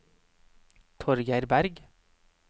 Torgeir Bergh